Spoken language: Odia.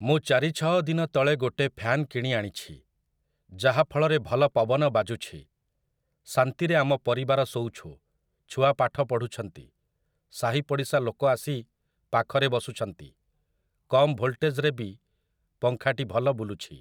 ମୁଁ ଚାରି ଛଅ ଦିନ ତଳେ ଗୋଟେ ଫ୍ୟାନ କିଣି ଆଣିଛି, ଯାହାଫଳରେ ଭଲ ପବନ ବାଜୁଛି । ଶାନ୍ତିରେ ଆମ ପରିବାର ଶୋଉଛୁ, ଛୁଆ ପାଠ ପଢୁଛନ୍ତି, ସାହି ପଡ଼ିଶା ଲୋକବି ଆସି ପାଖରେ ବସୁଛନ୍ତି । କମ୍ ଭୋଲଟେଜ୍ ରେ ବି ପଙ୍ଖାଟି ଭଲ ବୁଲୁଛି ।